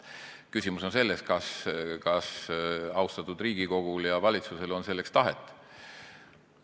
Küsimus on selles, kas austatud Riigikogul ja valitsusel on selleks tahet.